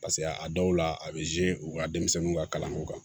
Paseke a dɔw la a bɛ u ka denmisɛnninw ka kalanko kan